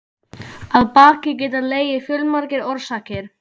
Að baki geta legið fjölmargar orsakir.